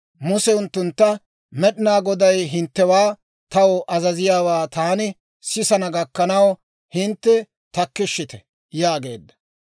Muse unttuntta, «Med'inaa Goday hinttewaa taw azaziyaawaa taani sisana gakkanaw hintte takkishshite» yaageedda.